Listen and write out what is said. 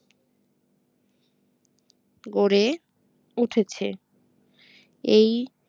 গড়ে উঠেছে এই